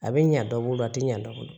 A bɛ ɲa dɔ bolo a tɛ ɲɛ dɔ bolo